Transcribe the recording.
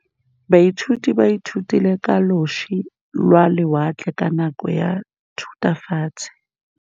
Baithuti ba ithutile ka losi lwa lewatle ka nako ya Thutafatshe.